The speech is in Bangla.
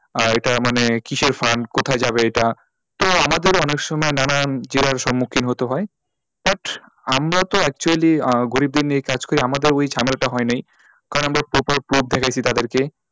আহ এটা মানে কিসের fund কোথায় যাবে এইটা? তো আমাদের অনেক সময় নানান জেরার সম্মুখীন হতে হয় হ্যাট আমরা তো actually আহ গরিবদের নিয়ে এই কাজ করি আমাদের ওই ঝামেলাটা হয় না কারণ আমরা proper proof দেখাইছি তাদেরকে,